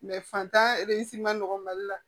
fantan ma nɔgɔ mali la